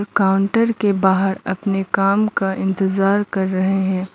Counter के बाहर अपने काम का इंतजार कर रहे हैं।